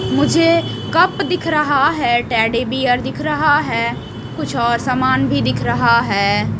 मुझे कप दिख रहा है टेडी बेयर दिख रहा है कुछ और सामान भी दिख रहा है।